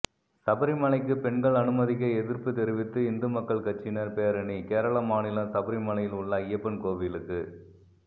சபரிமலைக்கு பெண்கள் அனுமதிக்க எதிர்ப்பு தெரிவித்து இந்து மக்கள் கட்சியினர் பேரணி கேரள மாநிலம் சபரிமலையில் உள்ள அய்யப்பன் கோவிலுக்கு